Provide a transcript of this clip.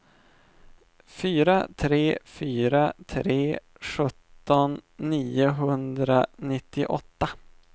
fyra tre fyra tre sjutton niohundranittioåtta